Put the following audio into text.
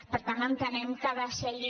per tant entenem que ha de ser allí